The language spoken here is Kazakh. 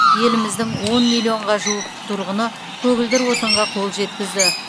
еліміздің он миллионға жуық тұрғыны көгілдір отынға қол жеткізді